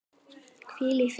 Hvíl í friði, elskan!